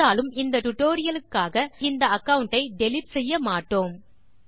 இருந்தாலும் இந்த டியூட்டோரியல் க்காக நாம் இந்த அகாவுண்ட் ஐ டிலீட் செய்ய மாட்டோம்